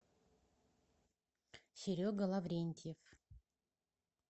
серега лаврентьев